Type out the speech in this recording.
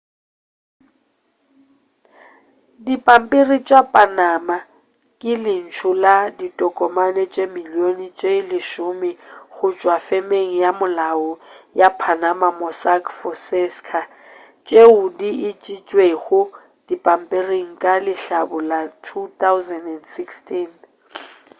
dipampiri tša panama ke lentšu la ditokomane tše dimilione tše lesome go tšwa femeng ya molao ya panama mossack fonseca tšeo di išitšwego dipampiring ka lehlabula 2016